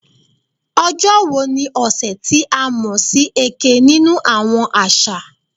"Ojo wo ni ọsẹ ti a mọ si "Eke" ninu awọn aṣa?"